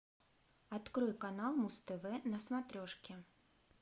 открой канал муз тв на смотрешке